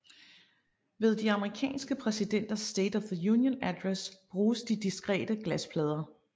Ved de amerikanske præsidenters State of the Union Address bruges de diskrete glasplader